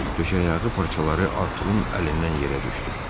Döşəyağı parçaları Artur'un əlindən yerə düşdü.